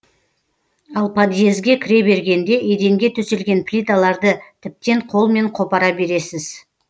ал подъезге кіре бергенде еденге төселген плиталарды тіптен қолмен қопара бересіз